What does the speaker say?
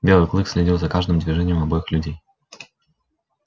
белый клык следил за каждым движением обоих людей